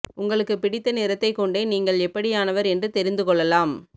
உங்களுக்கு பிடித்த நிறத்தைக் கொண்டே நீங்கள் எப்படியானவர் என்று தெரிந்து கொள்ளலாம்